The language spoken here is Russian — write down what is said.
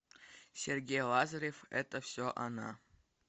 сергей лазарев это все она